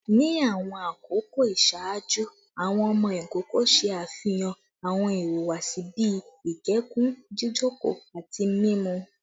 Ni awọn akoko iṣaaju, awọn ọmọ ikoko ṣe afihan awọn ihuwasi bii ikẹkun, jijoko, ati mimu